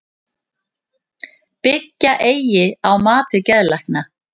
Byggja eigi á mati geðlækna